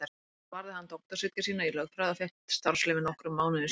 Þar varði hann doktorsritgerð sína í lögfræði og fékk starfsleyfi nokkrum mánuðum síðar.